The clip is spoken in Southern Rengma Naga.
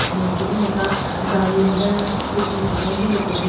Tsü nyeki nyu ne ika gaari nden scooties nden-e hyu lu kebin.